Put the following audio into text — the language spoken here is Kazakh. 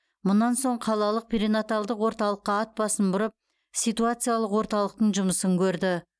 мұнан соң қалалық перинаталдық орталыққа ат басын бұрып ситуациялық орталықтың жұмысын көрді